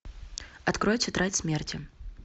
открой тетрадь смерти